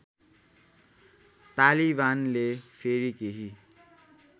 तालिबानले फेरि केही